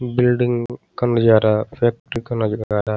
Building का नज़ारा factory का नज़ारा।